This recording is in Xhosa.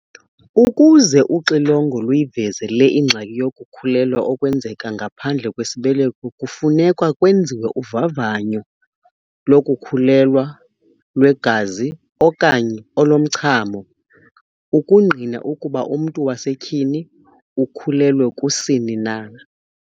Ukuze uxilongo luyiveze le ingxaki yokukhulelwa okwenzeka ngaphandle kwesibeleko kufuneka kwenziwe uvavanyo lokukhulelwa lwegazi okanye olomchamo ukungqina ukuba umntu wasetyhini ukhulelwe kusini na.